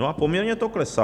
No a poměrně to klesá.